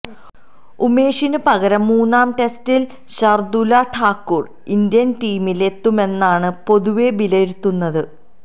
ഉമേഷിന് പകരം മൂന്നാം ടെസ്റ്റില് ഷര്ദ്ദുല് ഠാക്കൂര് ഇന്ത്യന് ടീമിലെത്തുമെന്നാണ് പൊതുവെ വിലയിരുത്തുന്നത്